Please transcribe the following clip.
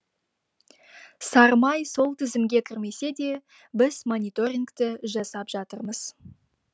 сары май сол тізімге кірмесе де біз мониторингті жасап жатырмыз